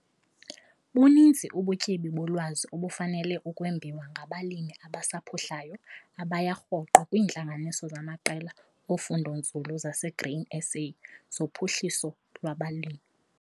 Buninzi ubutyebi bolwazi obufanele ukwembiwa ngabalimi abasaphuhlayo abaya rhoqo kwiintlanganiso zamaqela ofundonzulu zaseGrain SA zoPhuhliso lwabaLimi.